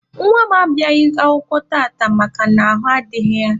Nwa m abịaghị akwụkwọ tata makana ahụ adịghị ya.